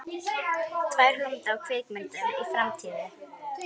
Tvær hugmyndir að kvikmyndum í framtíðinni.